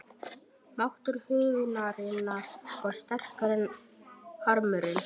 Máttur huggunarinnar varð sterkari en harmurinn.